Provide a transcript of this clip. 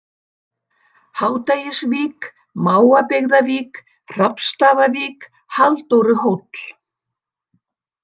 Hádegisvík, Mávabyggðavík, Hrafnsstaðavík, Halldóruhóll